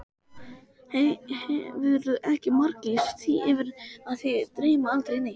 Hefurðu ekki marglýst því yfir að þig dreymi aldrei neitt?